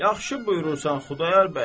Yaxşı buyurursan Xudayar bəy.